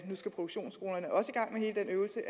nu skal produktionsskolerne også i gang med hele den øvelse